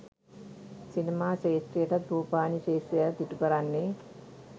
සිනමා ක්ෂේත්‍රයටත් රූපවාහිනී ක්ෂේත්‍රයටත් ඉටුකරන්නේ